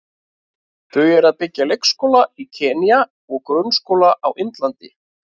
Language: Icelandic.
Þau eru að byggja leikskóla í Kenýa og grunnskóla á Indlandi.